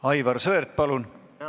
Aivar Sõerd, palun!